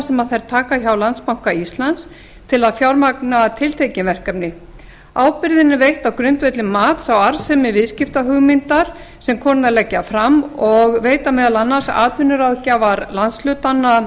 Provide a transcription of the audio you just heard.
sem þær taka hjá landsbanka íslands til að fjármagna tiltekin verkefni ábyrgðin er veitt á grundvelli mats á arðsemi viðskiptahugmyndar sem konurnar leggja fram og veita meðal annars atvinnuráðgjafar landshlutanna